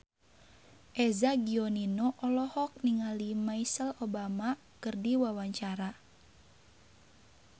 Eza Gionino olohok ningali Michelle Obama keur diwawancara